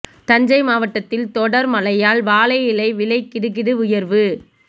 தஞ்சை மாவட்டத்தில் தொடர் மழையால் வாழை இலை விலை கிடுகிடு உயர்வு